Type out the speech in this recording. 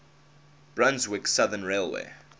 brunswick southern railway